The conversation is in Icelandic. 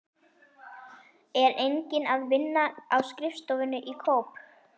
Er enginn að vinna á skrifstofunni í Kóp?